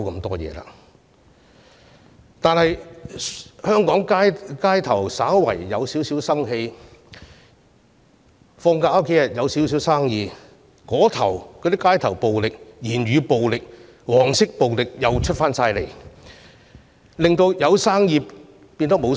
香港市面稍有生氣，假期生意略有起色，街頭暴力、言語暴力、黃色暴力便出現，令生意落空。